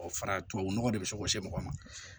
O fara tubabu nɔgɔ de bɛ se ka se mɔgɔ ma